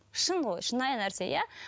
шын ғой шынайы нәрсе иә